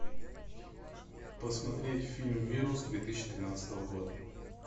посмотреть фильм вирус две тысячи тринадцатого года